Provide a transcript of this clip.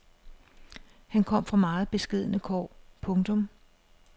Han kom fra meget beskedne kår. punktum